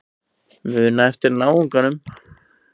Muna eftir náunganum.